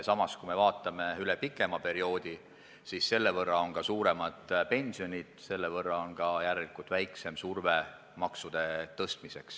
Samas, kui vaatame pikemat perioodi, siis selle võrra on ka pensionid suuremad ja selle võrra on järelikult ka surve makse tõsta väiksem.